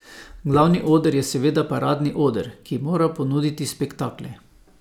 Glavni oder je seveda paradni oder, ki mora ponuditi spektakle.